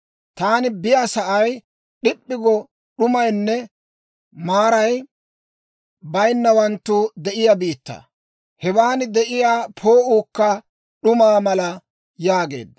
Taani biyaasa'ay d'ip'p'i go d'umaynne maaray baynawanttu de'iyaa biittaa; hewan de'iyaa poo'uukka d'umaa mala» yaageedda.